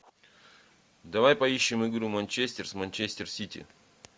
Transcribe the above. давай поищем игру манчестер с манчестер сити